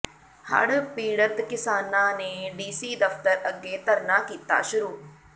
ਹੜ੍ਹ ਪੀੜਤ ਕਿਸਾਨਾਂ ਨੇ ਡੀਸੀ ਦਫਤਰ ਅੱਗੇ ਧਰਨਾ ਕੀਤਾ ਸ਼ੁਰੂ